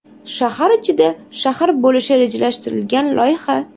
Shahar ichida shahar bo‘lishi rejalashtirilgan loyiha.